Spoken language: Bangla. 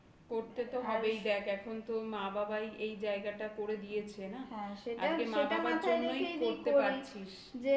করতে তো হবেই. দেখ. এখন তো মা বাবাই এই জায়গাটা করে দিয়েছে। না? হ্যাঁ. সেটা মাথায় রেখেই দেখতে পাচ্ছিস